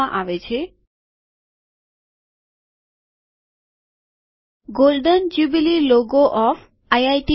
IIT Bombay નું golden jubilee logo of IIT Bombay